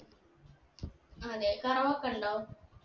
ആ അതെ കറവ് ഒക്കെ ഉണ്ടോ